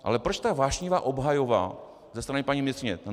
Ale proč ta vášnivá obhajoba ze strany paní ministryně?